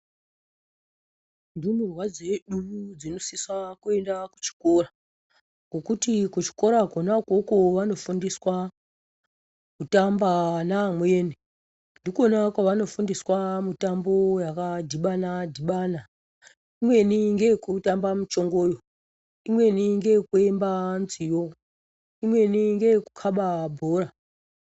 Ndumurwa dzedu dzinosisa kuenda kuchikora ngekuti kuchikora konako ikoyo vanofundiswa kutamba navamweni. Ndikona kwavanofundiswa mitambo yakadhibana dhibana, imweni ngeyekutamba michongooyo, imweni ngeekuimba nziyo, imweni ngeekukaba bhora.